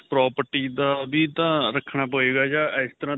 property ਦਾ ਵੀ ਤਾਂ ਰੱਖਣਾ ਪਏਗਾ ਜਾਂ ਇਸਤਰਾਂ